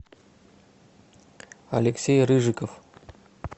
алексей рыжиков